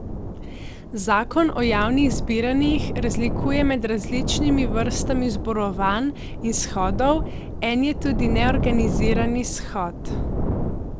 Zakon o javnih zbiranjih razlikuje med različnimi vrstami zborovanj in shodov, en je tudi neorganizirani shod.